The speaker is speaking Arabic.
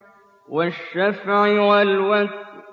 وَالشَّفْعِ وَالْوَتْرِ